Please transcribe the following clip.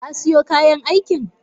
Kasiyo kayan aiki?